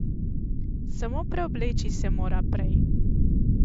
Samo preobleči se mora prej.